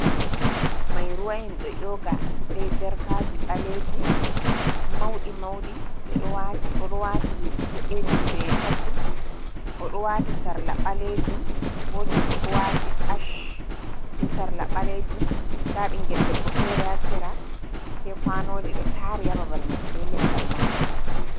Mai ruwa en do nyooga be jarkaji baleeji mauɗi, mauɗi odo waati be poppul odo wati sarla baleejum gotoh bo do waati ach be sarla baleejum. da bingel debbo fere ha shera shagojii do taari ha babal mai be leggal mangoro.